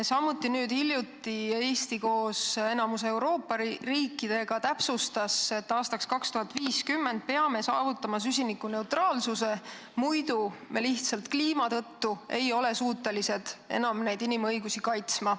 Samuti täpsustas Eesti nüüd hiljuti koos enamiku Euroopa riikidega, et aastaks 2050 peame saavutama süsinikuneutraalsuse, muidu me lihtsalt kliima tõttu ei ole suutelised enam inimõigusi kaitsma.